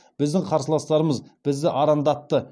біздің қарсыластарымыз бізді арандатты